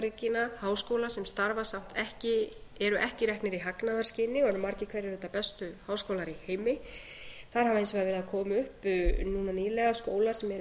saga einkarekinna háskóla sem starfa samt ekki eru ekki reknir í hagnaðarskyni og eru margir hverjir auðvitað bestu háskólar í heimi þar hafa hins vegar verið að koma núna nýlega skólar sem eru